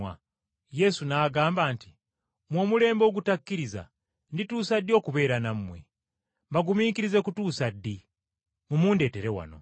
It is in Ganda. Yesu n’agamba nti, “Mmwe, omulembe ogutakkiriza ndituusa ddi okubeera nammwe? Mbagumiikirize kutuusa ddi? Mumundeetere wano.”